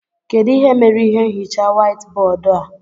Kedụ ihe mere ihe nhicha white bóódú a?